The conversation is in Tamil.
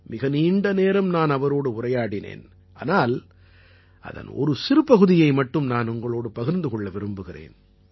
மிக நீண்ட நேரம் நான் அவரோடு உரையாடினேன் ஆனால் அதன் ஒரு சிறு பகுதியை மட்டும் உங்களோடு பகிர்ந்து கொள்ள விரும்புகிறேன்